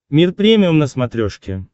мир премиум на смотрешке